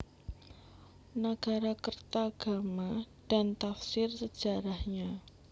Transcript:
Nagarakretagama dan Tafsir Sejarahnya